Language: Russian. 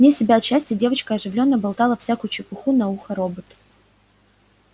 вне себя от счастья девочка оживлённо болтала всякую чепуху на ухо роботу